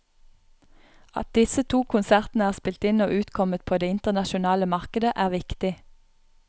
At disse to konsertene er spilt inn og utkommet på det internasjonale markedet, er viktig.